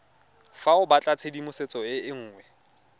fa o batlatshedimosetso e nngwe